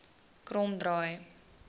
kromdraai